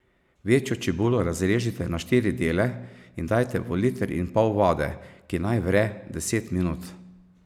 Večjo čebulo razrežite na štiri dele in dajte v liter in pol vode, ki naj vre deset minut.